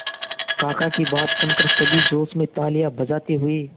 काका की बात सुनकर सभी जोश में तालियां बजाते हुए